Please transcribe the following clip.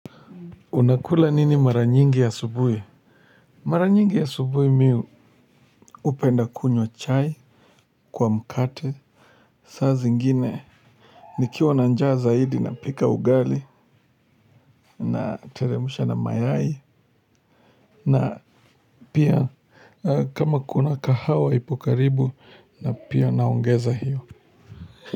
Unakula nini mara nyingi asubuhi? Mara nyingi asubuhi mi upenda kunywa chai kwa mkate. Saa zingine ni kiwa na njaa zaidi na pika ugali na teremusha na mayai. Na pia kama kuna kahawa ipokaribu na pia naongeza hiyo.